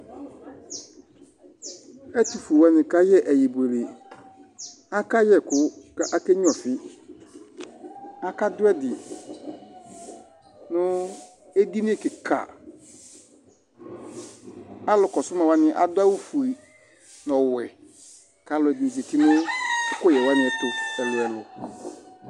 Ɛtufue wani kayɛ ɛyɛbuele akayɛ ɛku kake nya ɔfi aka du ɛdi nu edinie kika alu kɔsu ma adu awu fue nu ɔwɛ kaluɛdini zati nu ɛkuyɛ wani tu ɛlu ɛlu